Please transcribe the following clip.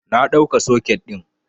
Na ɗauka soket ɗin